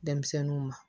Denmisɛnninw ma